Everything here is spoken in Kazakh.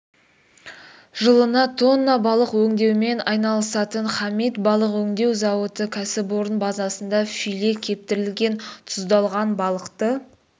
жылына тонна балық өңдеумен айналысатын хамит балық өңдеу зауыты кәсіпорын базасында филе кептірілген тұздалған балықты